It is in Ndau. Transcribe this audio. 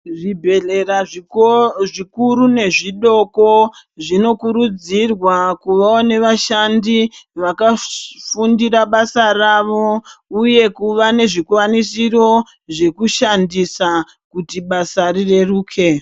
Zvibhedhlera zvikuru nezvidoko zvinokurudzirwa vaone vashandi vanofundira basa rawo uye kuva nezvikwanisiro zvekushandisa kuti basa rireruke.